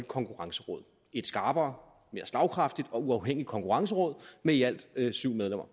konkurrenceråd et skarpere mere slagkraftigt og uafhængigt konkurrenceråd med i alt syv medlemmer